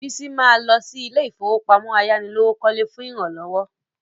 Bísí ma lọ sí ilé ìfowópamọ́ ayánilówókọ́lé fún ìrànlọ́wọ́